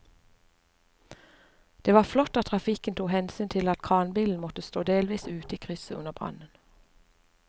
Det var flott at trafikken tok hensyn til at kranbilen måtte stå delvis ute i krysset under brannen.